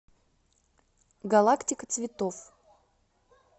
галактика цветов